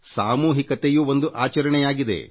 ಸಾಮೂಹಿಕತೆಯೂ ಒಂದು ಆಚರಣೆಯಾಗಿದೆ